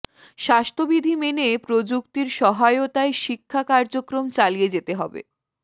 স্বাস্থ্যবিধি মেনে প্রযুক্তির সহায়তায় শিক্ষা কার্যক্রম চালিয়ে যেতে হবে